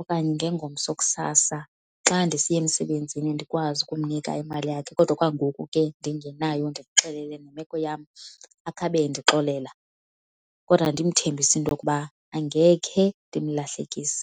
okanye ngengomso kusasa xa ndisiya emsebenzini ndikwazi ukumnika imali yakhe. Kodwa okwangoku ke ndingenayo ndimxelele nemeko yam akhe abe endixolela kodwa ndimthembise into okuba angekhe ndimlahlekise.